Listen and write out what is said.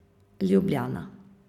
Ljubljana.